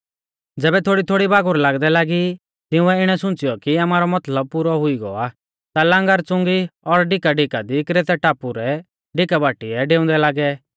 ज़ैबै थोड़ीथोड़ी बागुर लागदै लागी तिंउऐ इणै सुंच़ियौ कि आमारौ मतलब पुरौ हुई गौ आ ता लांगर च़ुंगी और डिका डिका दी क्रेतै टापु रै डिका बाटीऐ डेउंदै लागै